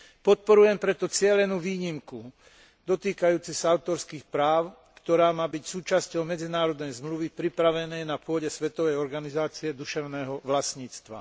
Podporujem preto cielenú výnimku dotýkajúcej sa autorských práv, ktorá má byť súčasťou medzinárodnej zmluvy pripravenej na pôde Svetovej organizácie duševného vlastníctva.